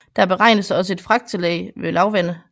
Der beregnes også et fragttillæg ved lavvande